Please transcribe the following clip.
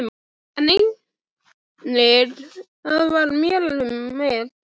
En einnig það varð mér um megn.